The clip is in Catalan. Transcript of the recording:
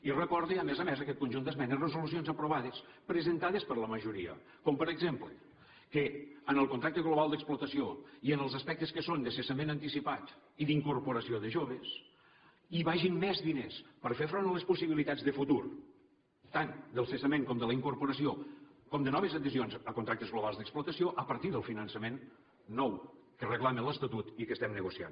i recorda a més a més aquest conjunt d’esmenes resolucions aprovades presentades per la majoria com per exemple que en el contracte global d’explotació i en els aspectes que són de cessament anticipat i d’incorporació de joves hi vagin més diners per fer front a les possibilitats de futur tant del cessament com de la incorporació com de noves adhesions a contractes globals d’explotació a partir del finançament nou que reclama l’estatut i que estem negociant